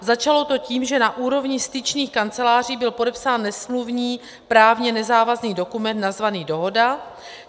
Začalo to tím, že na úrovni styčných kanceláří byl podepsán nesmluvní, právně nezávazný dokument nazvaný dohoda.